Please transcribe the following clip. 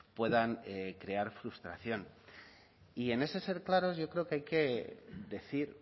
puedan crear frustración y en ese ser claros yo creo que hay que decir